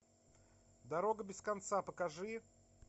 дорога без конца покажи